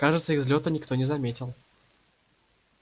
кажется их взлёта никто не заметил